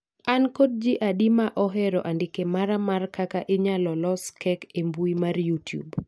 an kod jii adi ma ohero andike mara mar kaka inyalo los cake e mbui mar youtube